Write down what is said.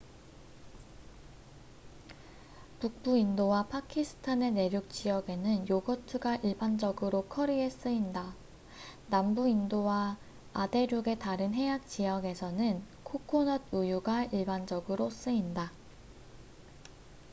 북부 인도와 파키스탄의 내륙 지역에는 요거트가 일반적으로 커리에 쓰인다 남부 인도와 아대륙의 다른 해안 지역에서는 코코넛 우유가 일반적으로 쓰인다